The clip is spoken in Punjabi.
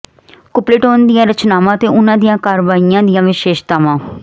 ਕੁਪਲੇਟੋਨ ਦੀਆਂ ਰਚਨਾਵਾਂ ਅਤੇ ਉਹਨਾਂ ਦੀਆਂ ਕਾਰਵਾਈਆਂ ਦੀਆਂ ਵਿਸ਼ੇਸ਼ਤਾਵਾਂ